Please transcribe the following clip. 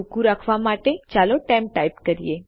ટુકું રાખવા માટે ચાલો ટેમ્પ ટાઇપ કરીએ